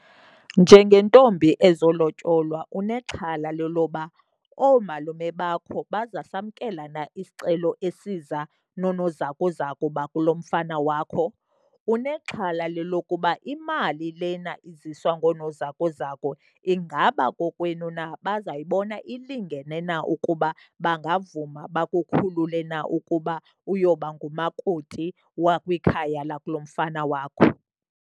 Njengentombi ezolotyolwa unexhala leloba oomalume bakho bazasamkela na isicelo esiza noonozakuzaku bakulo mfana wakho. Unexhala lelokuba imali lena iziswa ngoonozakuzaku ingaba kokwenu na bazayibona ilingene na ukuba bangavuma bakukhulule na ukuba uyoba ngumakoti wakwikhaya lakulo mfana wakho.